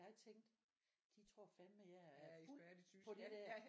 Jeg tænkte de tror fandme jeg er fuld på det der